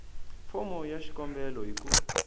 fomo ya xikombelo hi ku